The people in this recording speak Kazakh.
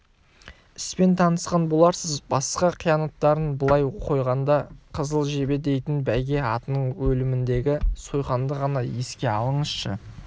іспен танысқан боларсыз басқа қиянаттарын былай қойғанда қызыл жебе дейтін бәйге атының өліміндегі сойқанды ғана еске алыңызшы